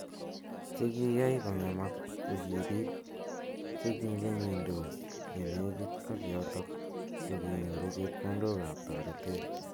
Che kiai kongemak ko ki pik che kimengidos ye nekit ak yotok ko kinyoru chepkondok ap toretet.